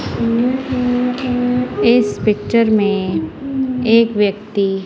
ह ह ह इस पिक्चर मे एक व्यक्ति--